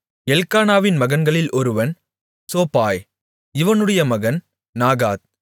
எல்க்கானாவின் மகன்களில் ஒருவன் சோபாய் இவனுடைய மகன் நாகாத்